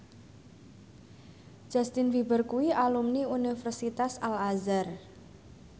Justin Beiber kuwi alumni Universitas Al Azhar